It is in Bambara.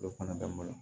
Olu fana bɛ malo